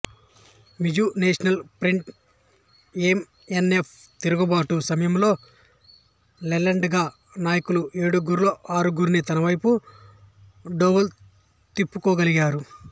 Mizo National Front M N F తిరుగుబాటు సమయంలో లాల్డెంగా నాయకులు ఏడుగురులో ఆరుగురిని తనవైపు డోవల్ తిప్పుకోగలిగారు